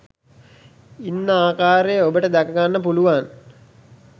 ඉන්න ආකාරය ඔබට දැක ගන්න පුළුවන්